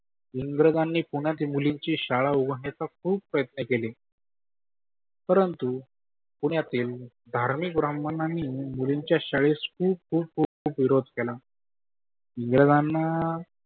इंग्राजांनी कोणाच्या मुलींची शाळा उघडण्याची खुप प्रयत्न केले. परंतु पुण्यातील धारमीक ब्राम्हणांनी मुलींच्या शाळेस खुप खुप खुप खुप विरोध केला. इंग्रजांना